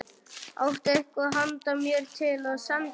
Áttu eitthvað handa mér til að senda þeim?